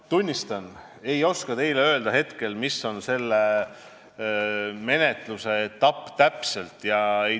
Tunnistan, et ei oska teile hetkel öelda, millises menetlusetapis see täpselt on.